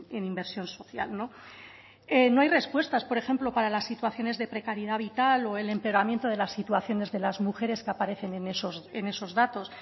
en inversión social no hay respuestas por ejemplo para las situaciones de precariedad vital o el empeoramiento de las situaciones de las mujeres que aparecen en esos datos